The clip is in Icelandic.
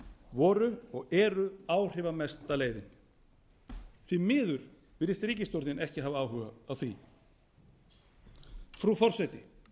voru og eru áhrifamesta leiðin því miður virðist ríkisstjórnin ekki hafa áhuga á því frú forseti